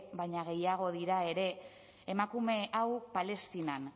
baino gehiago dira ere emakume hau palestinan